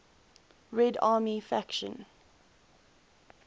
red army faction